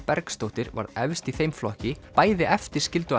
Bergsdóttir varð efst í þeim flokki bæði eftir